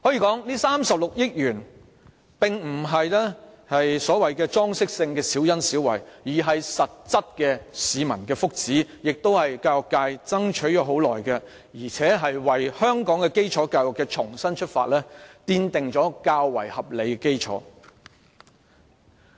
這36億元並非所謂裝飾性的小恩小惠，而是市民的實質福祉，亦是教育界爭取已久的事，同時為香港基礎教育的重新出發奠定了較為合理的基礎。